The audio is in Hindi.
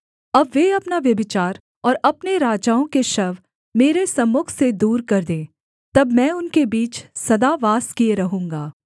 अब वे अपना व्यभिचार और अपने राजाओं के शव मेरे सम्मुख से दूर कर दें तब मैं उनके बीच सदा वास किए रहूँगा